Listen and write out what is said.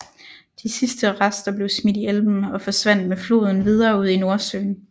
De sidste rester blev smidt i Elben og forsvandt med floden videre ud i Nordsøen